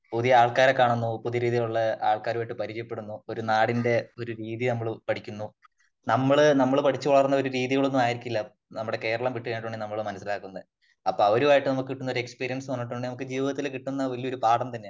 പുതിയ ആൾക്കാരെ കാണുന്നു . പുതിയ രീതിയിലുള്ള ആൾക്കാരുമായിട്ട് പരിചയപ്പെടുന്നു. ഒരു നാടിന്റെ ഒരു രീതി നമ്മള് പഠിക്കുന്നു . നമ്മള് നമ്മൾ പഠി ച്ച് വളർന്ന ഒരു രീതി ഒന്നും ആയിരിക്കില്ല നമ്മുടെ കേരളം വിട്ട് കഴിഞ്ഞാൽ നമ്മൾ മനസ്സിലാക്കുന്നത് . അപ്പോ അവരുമായിട്ട് നമുക്ക് കിട്ടുന്ന ഒരു എക്സ്പീരിയൻസ് എന്ന് പറഞ്ഞിട്ടുണ്ടെങ്കിൽ നമുക്ക് ജീവിതത്തിൽ കിട്ടുന്ന ഒരു പാഠം തന്നെയാണ് .